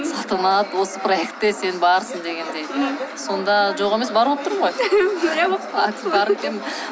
салтанат осы проектда сен барсың дегендей сонда жоқ емес бар болып тұрмын ғой